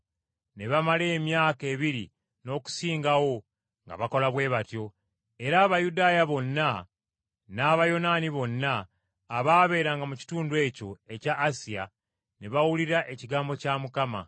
Ne bamala emyaka ebiri n’okusingawo nga bakola bwe batyo, era Abayudaaya bonna n’Abayonaani bonna abaabeeranga mu kitundu ekyo ekya Asiya ne bawulira ekigambo kya Mukama.